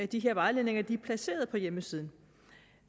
de her vejledninger er placeret på hjemmesiden